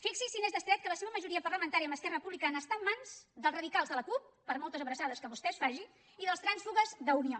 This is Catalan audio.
fixi’s si n’és d’estret que la seva majoria parlamentària amb esquerra republicana està en mans dels radicals de la cup per moltes abraçades que vostè es faci i dels trànsfugues d’unió